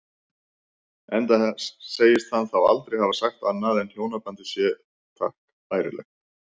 Enda segist hann þá aldrei hafa sagt annað en hjónabandið sé takk bærilegt.